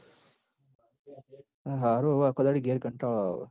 હાહરું અવ આખો દાડો ઘેર કંટાળો આવ હ